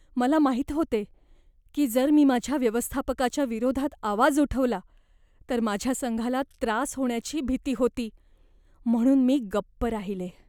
मला माहीत होते की जर मी माझ्या व्यवस्थापकाच्या विरोधात आवाज उठवला तर माझ्या संघाला त्रास होण्याची भीती होती, म्हणून मी गप्प राहिले.